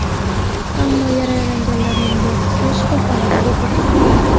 Ammo yaralanganlarning bir qismi shifoxonada vafot etdi.